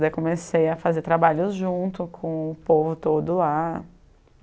Daí comecei a fazer trabalhos junto com o povo todo lá.